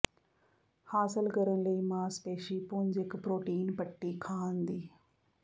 ਹਾਸਲ ਕਰਨ ਲਈ ਮਾਸਪੇਸ਼ੀ ਪੁੰਜ ਇੱਕ ਪ੍ਰੋਟੀਨ ਪੱਟੀ ਖਾਣ ਦੀ